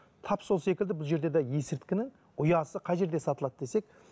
тап сол секілді бұл жерде де есірткінің ұясы қай жерде сатылады десек